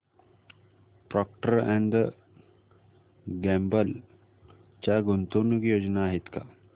Procter and Gamble च्या गुंतवणूक योजना आहेत का